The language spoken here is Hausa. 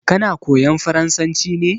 Kana koyan farasanci ne?